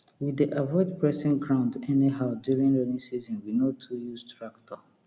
we dey avoid pressing ground anyhow during rainy season we no too use tractor